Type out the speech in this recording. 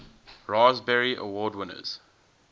raspberry award winners